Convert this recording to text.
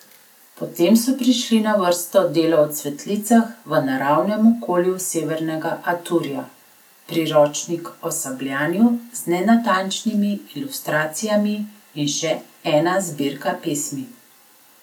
Potem so prišli na vrsto delo o cvetlicah v naravnem okolju severnega Aturja, priročnik o sabljanju z nenatančnimi ilustracijami in še ena zbirka pesmi.